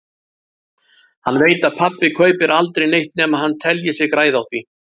Hann veit að pabbi kaupir aldrei neitt nema hann telji sig græða á því.